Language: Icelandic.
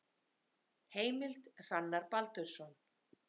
Heimild: Hrannar Baldursson.